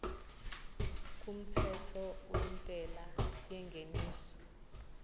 kumthetho wentela yengeniso